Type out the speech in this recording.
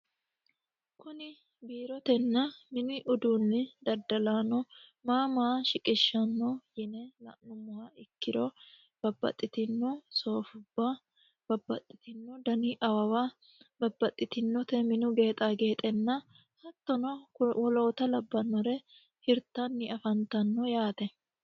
kuni biirotenna mini uduunni daddalaano maa maa shiqishshanno yine la'nummoha ikkiro babbaxxitino soofubba babbaxxitinno dani awawa babbaxxitinote minu geexa geexenna hattono woloota labbannore hirtanni afantanno yaate